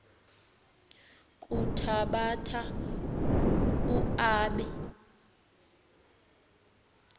kuthabatha u aabe